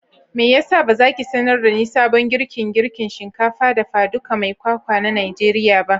meyasa bazaki sanar dani sabon girkin girkin shinkafa dafa ɗuka mai kwakwa na najeriya ba?